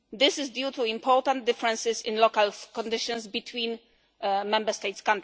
This is due to important differences in local conditions between Member States.